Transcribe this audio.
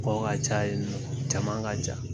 Ko ka ca caman yen nɔ jama ka ca